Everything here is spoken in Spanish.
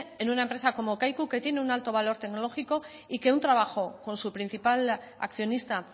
en una empresa como kaiku que tiene un alto valor tecnológico y que un trabajo con su principal accionista